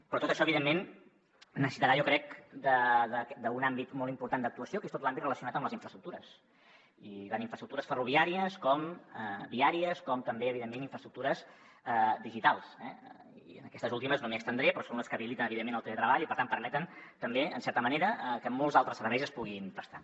però tot això evidentment necessitarà jo crec un àmbit molt important d’actuació que és tot l’àmbit relacionat amb les infraestructures tant infraestructures ferroviàries i viàries com també evidentment infraestructures digitals eh i en aquestes últimes no m’hi estendré però són les que habiliten evidentment el teletreball i per tant permeten també en certa manera que molts altres serveis es puguin prestar